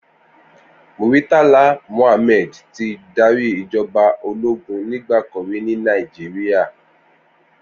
Murtala Muhammad ti dàrí ijòbá ólógùn nigbàkán ri ni Nàijiriá